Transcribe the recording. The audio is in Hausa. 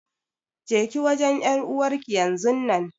Jeki wajen ƴar'uwarki yanzun nan.